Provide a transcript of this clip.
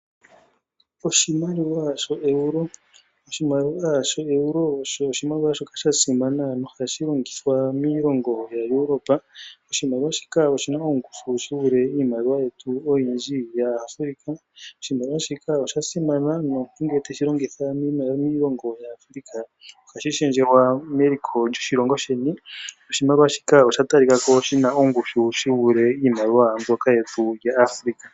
Oshimaliwa sho euro. Oshimaliwa sho euro osho oshimaliwa shoka sha simana nohashi longithwa miilongo yaEuropa. Oshimaliwa shika oshi na ongushu shi vule iimaliwa yetu oyindji yomuAfrica. Oshimaliwa shika sha simana nomuntu ngele te shi longitha miilongo yaAfrica ohashi shendjelwa meliko lyoshilongo sheni noshimaliwa shika osha talika ko shi na ongushu shi vulithe iimaliwa yetu yaAfrica.